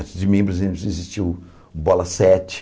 Antes de mim, por exemplo, existia o Bola Sete.